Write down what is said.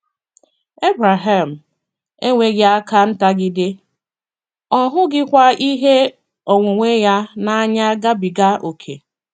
Ebreham enweghị aka ntagide, ọ hụghịkwa ihe onwunwe ya n’anya gabiga ókè.